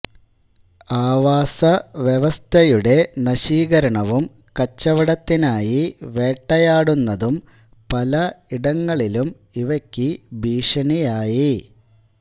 ആവാസവ്യവസ്ഥയുടെ നശീകരണവും കച്ചവടത്തിനായി വേട്ടയാടുന്നതും പല ഇടങ്ങളിലും ഇവയ്ക്കു ഭീഷണിയായി